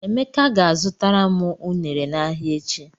Emeka ga-azụtara m ụnere n'ahịa echi.